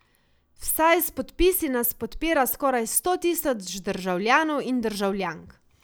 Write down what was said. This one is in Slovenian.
Vsaj s podpisi nas podpira skoraj sto tisoč državljanov in državljank.